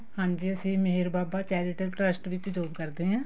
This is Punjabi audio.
ਹਾਂਜੀ ਅਸੀਂ ਮੇਹਰ ਬਾਬਾ charitable trust ਵਿੱਚ job ਕਰਦੇ ਹਾਂ